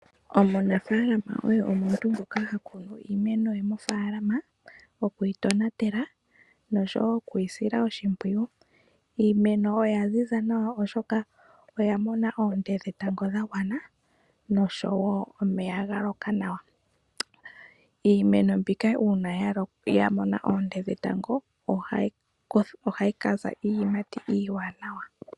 Omunafalama oye omuntu ngoka hakunu iimeno ye mofaalama heyi tonatele nokwiisila oshimpwiyu. Iimeno oya ziza nawa oshoka oyamona oonte dhetango dhagwana nosho woo omvula yaloka nawa. Iimeno ngele yamono oonte dhetango dhagwana nawa iimeno ohayi kiima iiyimati nawa.